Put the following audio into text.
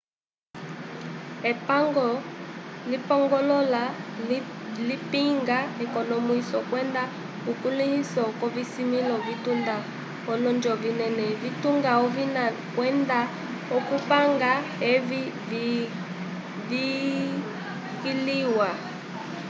epango lipongoloka lipinga ekonomwiso kwenda ukulĩhiso k'ovisimĩlo vitunga olonjo vinene vitunga ovina kwenda okupanga evi viskiliwa